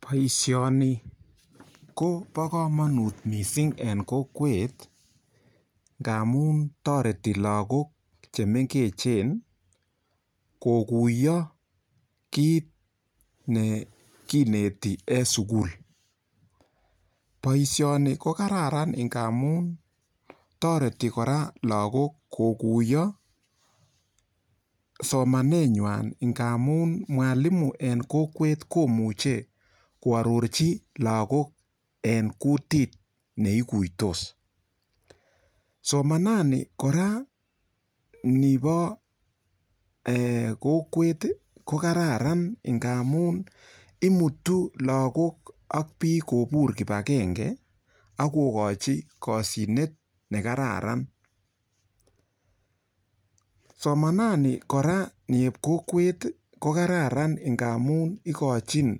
Boishoni ko bo komonut mising eng kokwet ngamun toreti lakok chemengechen kokuyo kiit ne kineti en sukul boishoni ko kararan ngamun toreti kora lakok kokuyo somaneng'wany ngamun mwalimo eng kokwet komuche koarorchin lakok en kutit neikuitos somanani kora nibo kokwet ko kararan ngamun imutu lakok ak biik kobur kibakenge akokochi koshinet nekararan somanani kora eng kokwet ko kararan ngamu ikochin